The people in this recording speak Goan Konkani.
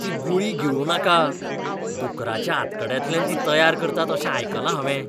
ती गुळी गिळूं नाका. दुकराच्या आंतकड्यांतल्यान ती तयार करतात अशें आयकलां हांवें.